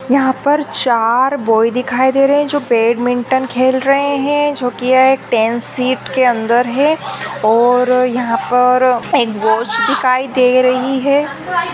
यहाँ पर चार बॉय दिखाई दे रहे है। जो बैडमिंटन खेल रहे है। जो कि यह टेन सीट के अंदर है और यहाँ पर एक वॉच दिखाई दे रही है।